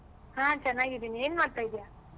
ಹಾ ಚೆನ್ನಾಗಿದ್ದೀನಿ ಏನ್ ಮಾಡ್ತಾ ಇದ್ಯ?